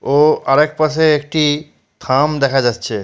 ও আর এক পাশে একটি থাম দেখা যাচ্ছে।